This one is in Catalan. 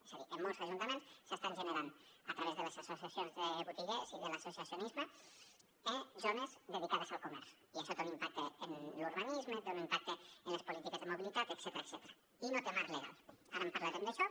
és a dir en molts ajuntaments s’estan generant a través de les associacions de botiguers i de l’associacionisme eh zones dedicades al comerç i això té un impacte en l’urbanisme té un impacte en les polítiques de mobilitat etcètera i no té marc legal ara en parlarem d’això